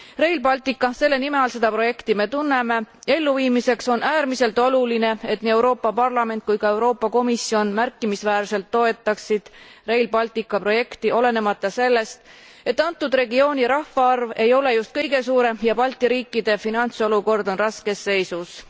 Rail Baltica selle nime all me seda projekti tunneme elluviimiseks on äärmiselt oluline, et nii Euroopa Parlament kui ka Euroopa Komisjon märkimisväärselt toetaksid Rail Baltica projekti, olenemata sellest, et antud regiooni rahvaarv ei ole just kõige suurem ja Balti riikide finantsolukord on raskes seisus.